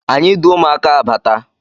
Anyi du ụmụaka abata